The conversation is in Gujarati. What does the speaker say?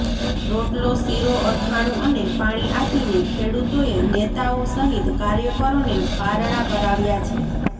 રોટલો શીરો અથાણુ અને પાણી આપીને ખેડૂતોએ નેતાઓ સહિત કાર્યકરોને પારણા કરાવ્યા છે